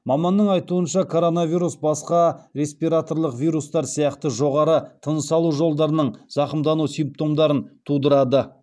маманның айтуынша коронавирус басқа респираторлық вирустар сияқты жоғары тыныс алу жолдарының зақымдану симптомдарын тудырады